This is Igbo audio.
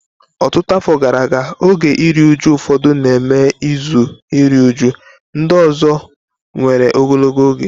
Ọtụtụ afọ gara aga, oge iru uju ụfọdụ na-eme izu iru újú; ndị ọzọ nwere ogologo oge.